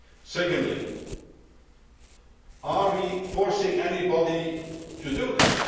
Secondly, are we forcing anybody to do this?